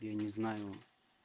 я не знаю